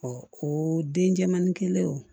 o denmanin kelen wo